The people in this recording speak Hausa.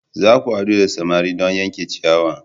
Za ku haɗu da samari don yanke ciyawa!